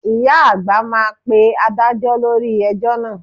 Ìyá àgbà máa pe Adájọ́ lórí ẹjọ́ náà